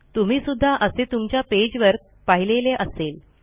तुम्ही सुद्धा असे तुमच्या पेजवर पाहिलेले असेल